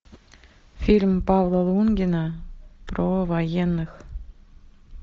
фильм павла лунгина про военных